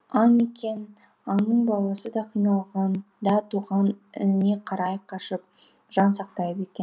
аң екен аңның баласы да қиналғанда туған ініне қарай қашып жан сақтайды екен